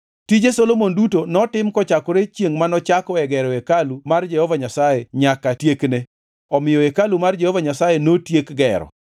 Tije Solomon duto notim kochakore chiengʼ manochakoe gero hekalu mar Jehova Nyasaye nyaka tiekne. Omiyo hekalu mar Jehova Nyasaye notiek gero.